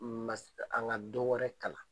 Ma st a ŋa don wɛrɛ kalan.